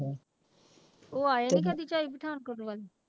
ਉਹ ਆਏ ਨੀ ਕਦੇ ਝਾਈ ਪਠਾਨਕੋਟ ਵੱਲ?